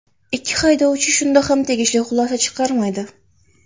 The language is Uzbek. Ikki haydovchi shunda ham tegishli xulosa chiqarmaydi.